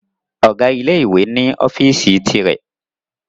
Ọ̀gá ilé ìwé ni ọ́fíìsì ti rẹ̀